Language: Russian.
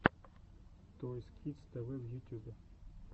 тойс кидс тэ вэ в ютюбе